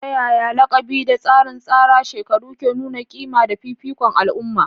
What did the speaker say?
Ta yaya laƙabi da tsarin tsara shekaru ke nuna ƙima da fifikon al'umma?